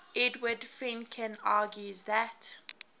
edward fredkin argues that